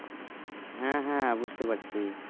হ্যাঁ হ্যাঁ বুঝতে পারছি